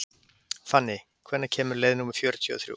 Fanný, hvenær kemur leið númer fjörutíu og þrjú?